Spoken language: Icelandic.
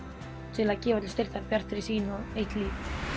til að gefa til styrktar Bjartri sýn og eitt líf